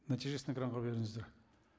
нәтижесін экранға беріңіздер